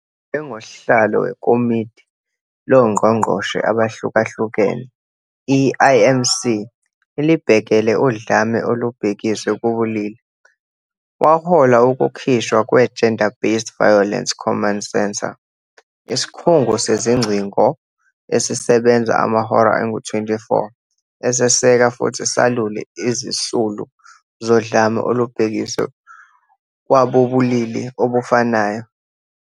NjengoSihlalo weKomidi LoNgqongqoshe Abahlukahlukene, i-IMC, Elibhekele Udlame Olubhekiswe Kubulili, wahola ukukhishwa kwe-Gender-Based Violence Command Centre, isikhungo sezingcingo esisebenza amahora angu-24 eseseka futhi salule izisulu zodlame olubhekiswe kwabobulili obufanayo.